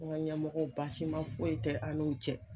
N ka ɲɛmɔgɔ basi ma foyi tɛ an n'u cɛ